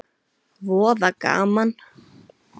Voða gaman.